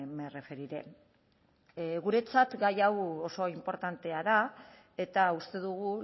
me referiré guretzat gai hau oso inportantea da eta uste dugu